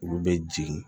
Olu bɛ jigin